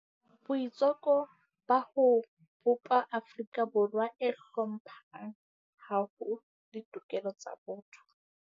Boitseko ba ho bopa Afrika Borwa e hlomphang haholo ditokelo tsa botho.